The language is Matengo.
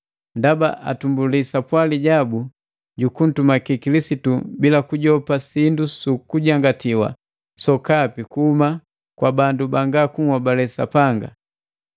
Ndaba atumbuli sapwali jabu ju kuntumaki Kilisitu bila kujopa sindu su kujangatiwa sokapi kuhuma kwa bandu banga kunhobale Sapanga.